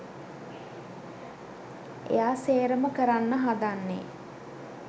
එයා සේරම කරන්න හදන්නෙ